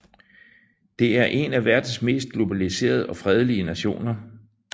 Det er en af verdens mest globaliserede og fredelige nationer